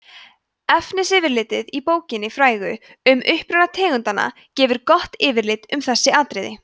efnisyfirlitið í bókinni frægu um uppruna tegundanna gefur gott yfirlit um þessi atriði